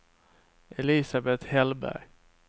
Elisabeth Hellberg